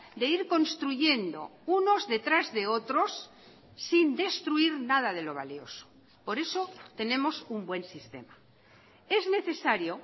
de ir construyendo unos detrás de otros sin destruir nada de lo valioso por eso tenemos un buen sistema es necesario